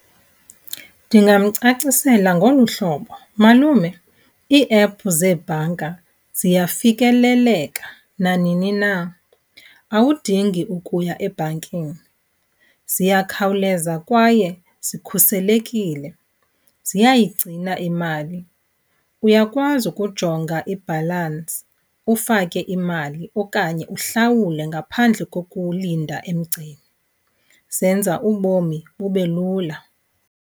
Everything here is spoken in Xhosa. Ndingamcacisela ngolu hlobo. Malume, ii-app zeebhanka ziyafikeleleka nanini na, awudingi ukuya ebhankini. Ziyakhawuleza kwaye zikhuselekile, ziyayigcina imali. Uyakwazi ukujonga ibhalansi ufake imali okanye uhlawule ngaphandle kokulinda emgceni. Zenza ubomi bube lula.